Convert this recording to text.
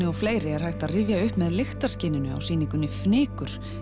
og fleiri er hægt að rifja upp með á sýningunni fnykur